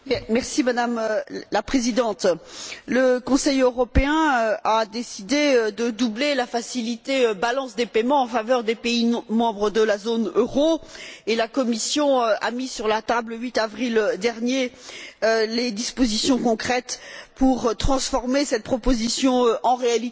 Madame la Présidente, le Conseil européen a décidé de doubler la facilité balance des paiements en faveur des pays non membres de la zone euro et la Commission a mis sur la table, le 8 avril dernier, les dispositions concrètes pour transformer cette proposition en réalité.